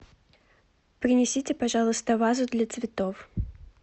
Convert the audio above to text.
принесите пожалуйста вазу для цветов